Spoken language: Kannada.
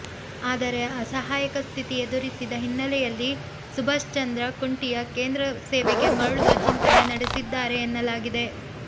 ಆದರೆ ಅಸಹಾಯಕ ಸ್ಥಿತಿ ಎದುರಿಸಿದ ಹಿನ್ನಲೆಯಲ್ಲಿ ಸುಭಾಷ್ ಚಂದ್ರ ಖುಂಟಿಯಾ ಕೇಂದ್ರ ಸೇವೆಗೆ ಮರಳುವ ಚಿಂತನೆ ನಡೆಸಿದ್ದಾರೆ ಎನ್ನಲಾಗಿದೆ